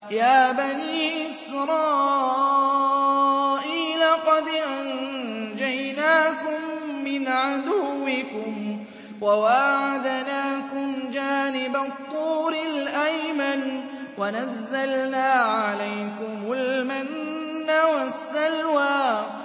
يَا بَنِي إِسْرَائِيلَ قَدْ أَنجَيْنَاكُم مِّنْ عَدُوِّكُمْ وَوَاعَدْنَاكُمْ جَانِبَ الطُّورِ الْأَيْمَنَ وَنَزَّلْنَا عَلَيْكُمُ الْمَنَّ وَالسَّلْوَىٰ